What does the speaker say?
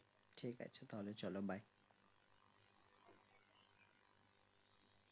ঠিক আছে তাহলে চলো bye